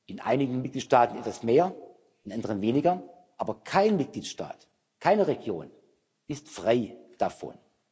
In einigen Mitgliedstaaten ist das mehr, in anderen weniger, aber kein Mitgliedstaat, keine Region ist frei davon.